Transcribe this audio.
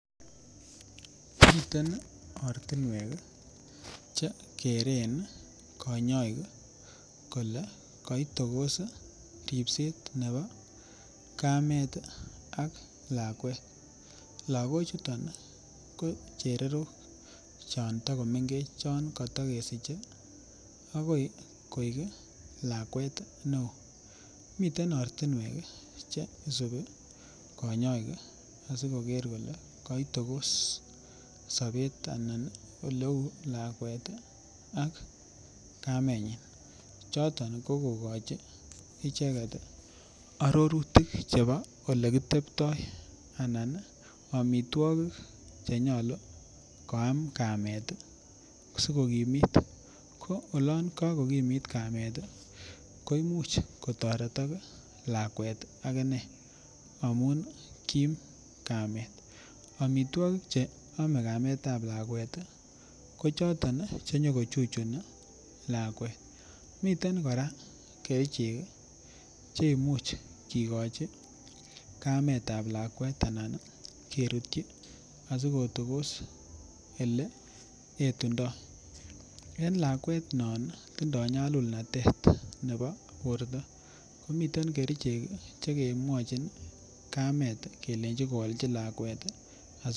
Miten ortinwek chekeren konyoik kolee koitokos ribset nebo kameet ak lakwet, lokochuton ko chererok chon tokomengech chon kotokesiche ak koi koik lakwet neo, miten ortinwek cheisubi konyoik asikoker kolee koitokos sobet anan oleuu lakwet ak kamenyin choton ko kokochi icheket arorutik chebo olekitebtoianan amitwokik chenyolu koam kamet sikokimit, ko olon kokokimit kamet ko imuch otoretok lakwet akine amun kiim kamet, amitwokik che omee kametab lakwet ko choton chenyo ko chuchuni lakwet, miten kora kerichek cheimuch kikochi kametab lakwet anan kerutyi asikotokos elee etundo, en lakwet non tindo nyalulnatet nebo borto omiten kerichek chekemwochin kamet kelenchi koalchi lakwet.